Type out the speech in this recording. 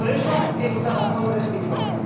Por eso he votado a favor de este informe.